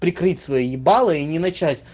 прикрыть свои ебалы и не начать